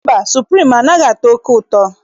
Mba, suprim anaghị atọ oke ụtọ.